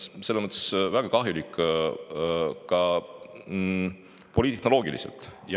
See on väga kahjulik ka poliittehnoloogiliselt.